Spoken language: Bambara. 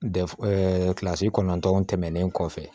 Dɛfu kilasi kɔnɔntɔn tɛmɛnen kɔfɛ